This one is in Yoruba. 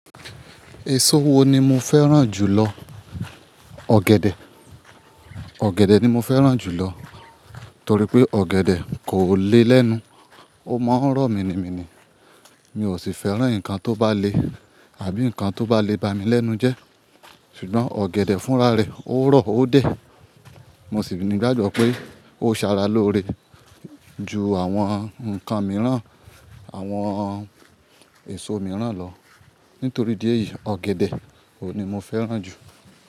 Èso wo ni mo fẹ́ràn jù lọ? Ọ̀gẹ̀dẹ̀, ọ̀gẹ̀dẹ̀ ni mo fẹ́ràn jù lọ torí pé ọ̀gẹ̀dẹ̀ kò le lẹ́nu, ó máa ń rọ̀ mi ni mi ni. Mi ò sì fẹ́ràn nǹkan tó bá le àbí nǹkan tó bá le bá mi lẹ́nu jẹ́ ṣùgbọ́n ọ̀gẹ̀dẹ̀ fúnra rẹ̀ ó rọ̀ ó dẹ̀. Mo sì ni gbàgbọ́ pé ó ń ṣara lóore ju àwọn nǹkan mìíràn, àwọn èso mìíràn lọ. Nítorí di ẹ́ yìí, ọ̀gẹ̀dẹ̀ òní mo fẹ́ràn jù.